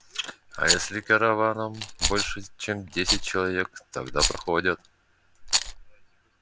а если караваном больше чем десять человек тогда проходят